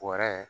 Bɔrɛ